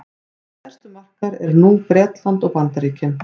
okkar stærstu markaðir nú eru bretland og bandaríkin